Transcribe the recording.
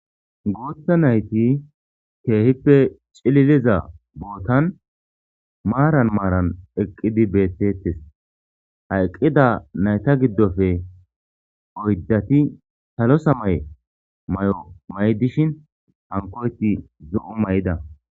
Guuthta nayti keehippe cililiza bootan maaran maaran eqqidi beettetes haeqqida nayta giddofe oyddati salosa maye may7o may7 dishin hankoyti zo7u may7da.